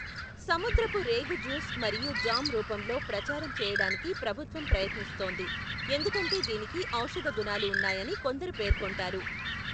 సముద్రపు రేగు జ్యూస్ మరియు జామ్ రూపంలో ప్రచారం చేయడానికి ప్రభుత్వం ప్రయత్నిస్తోంది, ఎందుకంటే దీనికి ఔషధ గుణాలు ఉన్నాయని కొందరు పేర్కొంటారు.